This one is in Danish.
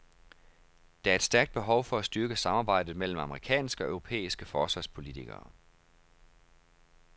Der er et stærkt behov for at styrke samarbejdet mellem amerikanske og europæiske forsvarspolitikere.